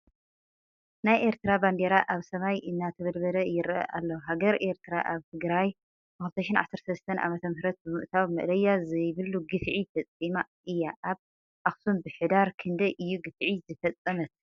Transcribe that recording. ናይ ኤርትራ ባንዴራ ኣብ ሰማይ እንተበልበለ ይረኣ ኣሎ ። ሃገረ ኤርትር ኣብ ትግራይ ብ2013 ዓ/ም ብምእታው መእለያ ዘብሉ ግፍዒ ፈፂማ እያ ። ኣብ ኣክሱም ብሕዳር ክንዳይ እዩ ግፍዒ ዝፈፀመት ?